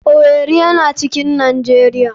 Owerri yana cikin nijeria.